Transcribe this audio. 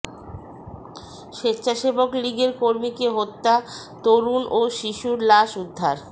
স্বেচ্ছাসেবক লীগের কর্মীকে হত্যা তরুণ ও শিশুর লাশ উদ্ধার